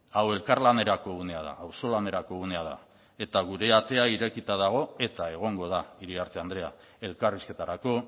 hau elkarlanerako unea da auzolanerako unea da eta gure atea irekita dago eta egongo da iriarte andrea elkarrizketarako